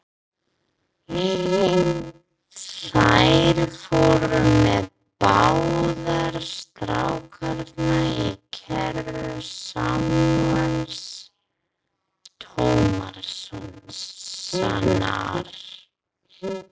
Þær fóru með báða strákana í kerru Samúels Tómassonar.